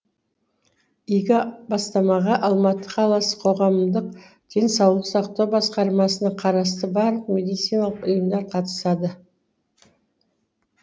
игі бастамаға алматы қаласы қоғамдық денсаулық сақтау басқармасына қарасты барлық медициналық ұйымдар қатысады